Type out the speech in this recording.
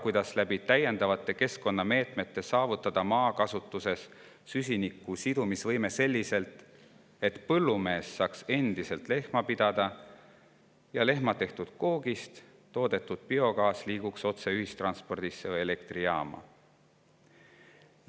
Kuidas saavutada süsiniku sidumise võime maakasutus täiendavate keskkonnameetmete kehtestamise kaudu selliselt, et põllumees saaks endiselt lehma pidada ja lehma tehtud koogist toodetud biogaas liiguks otse ühistranspordi või elektrijaama?